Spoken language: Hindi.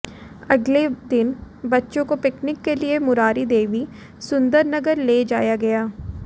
अगले दिन बच्चों को पिकनिक के लिए मुरारी देवी सुंदरनगर ले जाया गया